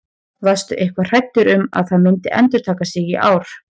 Varstu eitthvað hræddur um að það myndi endurtaka sig í ár?